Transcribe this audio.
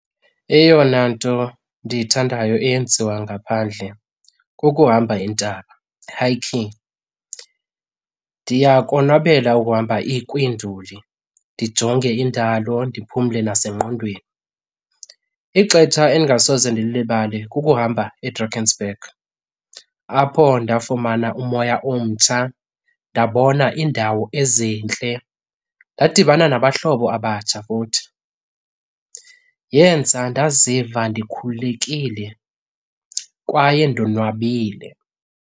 Eyona nto ndiyithandayo eyenziwa ngaphandle kukuhamba iintaba, hiking. Ndiyakonwabela ukuhamba kwiinduli ndijonge indalo ndiphumle nasengqondweni. Ixetsha endingasoze ndilulibale kukuhamba eDrakensberg apho ndafumana umoya omtsha, ndabona iindawo ezintle ndadibana nabahlobo abatsha futhi. Yenza ndaziva ndikhululekile kwaye ndonwabile.